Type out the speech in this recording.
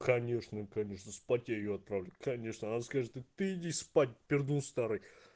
конечно конечно спать её отправлю конечно она скажет иди спать пернул старый